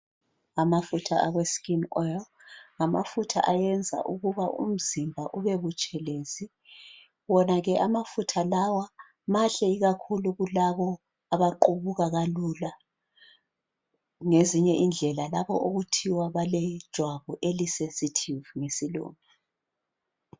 Amafutha awe skin oil ngamafutha awenza ukuba umzimba ube butshelezi wonake amafutha lawa mahle kulabo abaqubuka kalula ngezinye indlela labo okuthiwa balejwabu eli sensitive ngesilungu